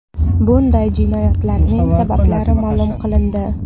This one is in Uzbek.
Bunday jinoyatlarning sabablari ma’lum qilindi.